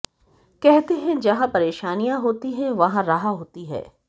कहते हैं जहां परेशानियां होती हैं वहां राह होती है